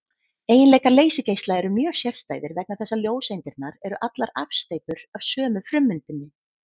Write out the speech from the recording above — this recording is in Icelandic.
Eiginleikar leysigeisla eru mjög sérstæðir vegna þess að ljóseindirnar eru allar afsteypur af sömu frummyndinni.